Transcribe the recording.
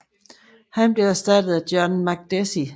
Han blev erstattet af John Makdessi